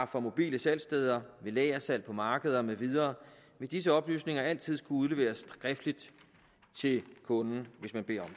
fra mobile salgssteder ved lagersalg på markeder med videre vil disse oplysninger altid skulle udleveres skriftligt til kunden hvis man beder